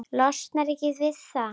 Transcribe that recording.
Losnar ekki við hann.